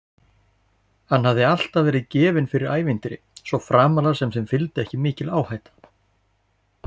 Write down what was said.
Hann hafði alltaf verið gefinn fyrir ævintýri, svo framarlega sem þeim fylgdi ekki mikil áhætta.